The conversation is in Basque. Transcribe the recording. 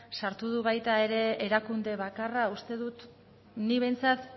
sartu du baita ere erakunde bakarra uste dut nik behintzat